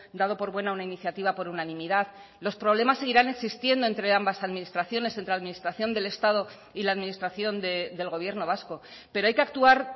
dado por buena una iniciativa por unanimidad los problemas seguirán existiendo entre ambas administraciones entre administración del estado y la administración del gobierno vasco pero hay que actuar